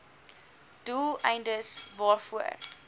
doel eindes waarvoor